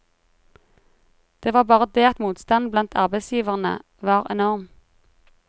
Det var bare det at motstanden blandt arbeidsgiverne var enorm.